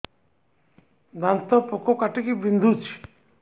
ଦାନ୍ତ ପୋକ କାଟିକି ବିନ୍ଧୁଛି